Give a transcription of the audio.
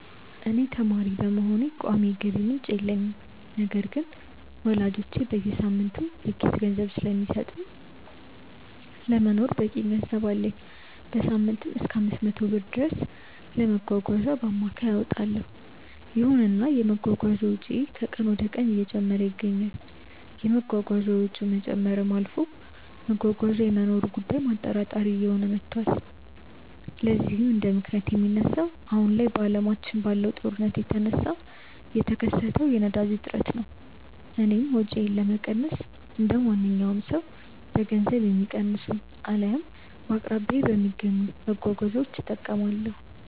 እኔ ተማሪ በመሆኔ ቋሚ የገቢ ምንጭ የለኝም። ነገር ግን ወላጆቼ በየሳምንቱ የኪስ ገንዘብ ስለሚሰጡኝ ለመኖር በቂ ገንዘብ አለኝ። በሳምንትም እሰከ 500 ብር ድረስ ለመጓጓዣ በአማካይ አወጣለው። ይሁንና የመጓጓዣ ወጪዬ ከቀን ወደቀን እየጨመረ ይገኛል። የመጓጓዣ ወጪው ከመጨመርም አልፎ መጓጓዣ የመኖሩ ጉዳይም አጠራጣሪ እየሆነ መቷል። ለዚህም እንደምክንያት የሚነሳው አሁን ላይ አለማችን ላይ ባለው ጦርነት የተነሳ የተከሰተው የነዳጅ እጥረት ነው። እኔም ወጪዬን ለመቀነስ እንደማንኛውም ሰው በገንዘብ የሚቀንሱ አልያም በአቅራቢያዬ በሚገኙ መጓጓዣዎች እጠቀማለሁ።